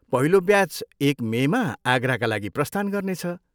पहिलो ब्याच एक मेमा आगराका लागि प्रस्थान गर्नेछ।